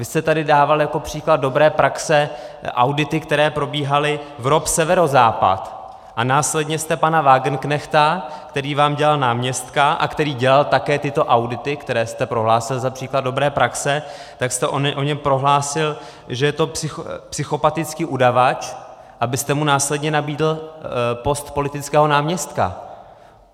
Vy jste tady dával jako příklad dobré praxe audity, které probíhaly v ROP Severozápad a následně jste pana Wagenknechta, který vám dělal náměstka a který dělal také tyto audity, které jste prohlásil za příklad dobré praxe, tak jste o něm prohlásil, že je to psychopatický udavač, abyste mu následně nabídl post politického náměstka.